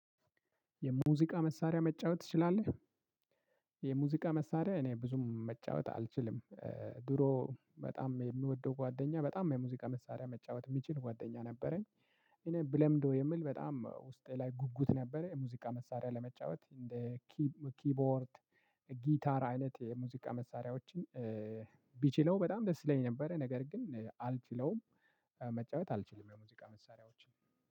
የሙዚቃ መሳሪያ መጫወት ትችላለህ? የሙዚቃ መሳሪያ እኔ ብዙም መጫወት አልችልም ድሮ በጣም የምወደው ጓደኛ በጣም የሙዚቃ መሳሪያ መጫወት የሚችል ጓደኛ ነበረኝ። እኔ ብለምዶ የምል በጣም ውስጤ ላይ ጉጉት ነበረ። የሙዚቃ መሳሪያ ለመጫወት እንደ ኪቦርድ ጊታር አይነት የሙዚቃ መሳሪያዎችን ቢችለው በጣም ደስ ይለኛል። ነበረ ነገር ግን አልችለውም መጫወት አልችልም። የሙዚቃ መሳሪያዎችን